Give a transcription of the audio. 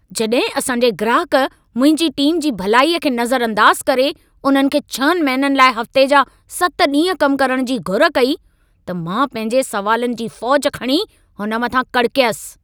जॾहिं असां जे ग्राहकु, मुंहिंजी टीम जी भलाईअ खे नज़र अंदाज़ करे, उन्हनि खे 6 महिननि लाइ हफ़्ते जा 7 ॾींहं कम करण जी घुर कई, त मां पंहिंजे सवालनि जी फ़ौजि खणी हुन मथां कड़कयसि।